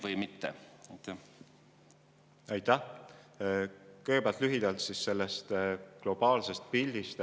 Kõigepealt lühidalt globaalsest pildist.